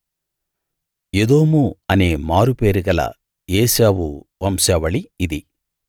ఎదోము అనే మారు పేరు గల ఏశావు వంశావళి ఇది